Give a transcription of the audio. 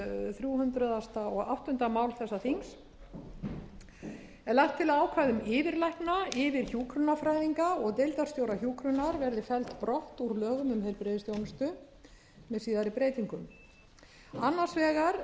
þrjú hundruð og áttunda mál þessa þings er lagt til að ákvæði um yfirlækna yfirhjúkrunarfræðinga og deildarstjóra hjúkrunar verði felld brott úr lögum um heilbrigðisþjónustu með síðari breytingum annars vegar